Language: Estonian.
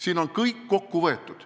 " Siin on kõik kokku võetud.